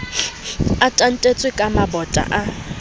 a tantetswe ka mabota a